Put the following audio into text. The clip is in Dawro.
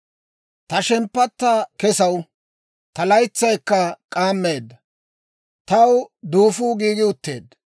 «Ta shemppatta kesaw; ta laytsay k'aammeedda; taw duufuu giigi utteedda.